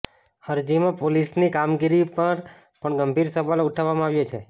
અરજીમાં પોલીસની કામગીરી પર પણ ગંભીર સવાલો ઉઠાવવામાં આવ્યા છે